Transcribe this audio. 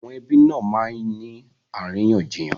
Àwọn ẹbí nà máa ń ní àríyànjiyàn